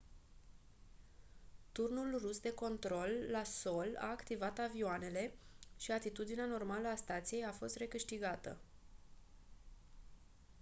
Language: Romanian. turnul rus de control la sol a activat avioanele și atitudinea normală a stației a fost recâștigată